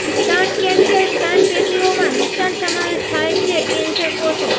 સ્તન કેન્સર સ્તન પેશીઓમાં નુકસાન સમાવેશ થાય છે કેન્સર કોષો